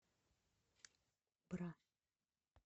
бра